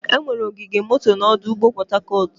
Enwere ogige moto na ọdụ ụgbọ Port Harcourt.